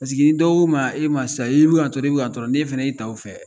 Paseke ni dɔ ko e ma e ma sisan i bɛ ka n'tɔrɔ i bɛ ka ntɔɔ n' e fɛnɛ 'i' ta o fɛ